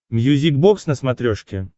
мьюзик бокс на смотрешке